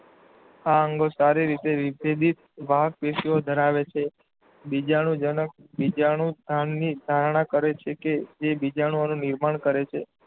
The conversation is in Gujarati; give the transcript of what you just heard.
આ અંગો સારી રીતે વિભેદિત વાહકપેશીઓ ધરાવે છે. બીજાણુજનક બીજાણુંધાની ધારણ કરે છે કે જે બીજાણુઓનું નિર્માણ કરે છે.